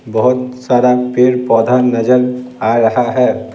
बहुत सारा पेड़-पौधा नजर आ रहा है।